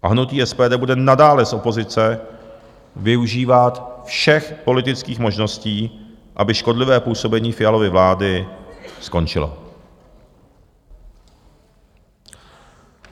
A hnutí SPD bude nadále z opozice využívat všech politických možností, aby škodlivé působení Fialovy vlády skončilo.